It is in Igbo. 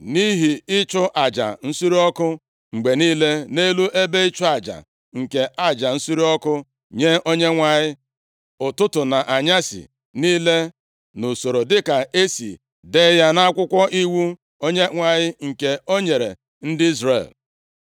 Nʼihi ịchụ aja nsure ọkụ mgbe niile nʼelu ebe ịchụ aja nke aja nsure ọkụ nye Onyenwe anyị, ụtụtụ na anyasị niile nʼusoro dịka e si dee ya nʼakwụkwọ iwu Onyenwe anyị, nke o nyere ndị Izrel.